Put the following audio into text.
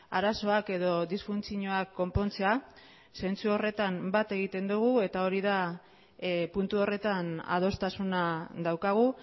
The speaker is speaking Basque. arazoak edo disfuntzioak konpontzea zentzu horretan bat egiten dugu eta hori da puntu horretan adostasuna daukagu